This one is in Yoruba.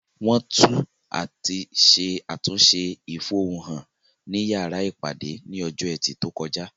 Wọ́n tú àti ṣe àtúnṣe ìfohun-hàn ní yàrá ìpàdé ní ọjọ́ ẹtì tó kọjá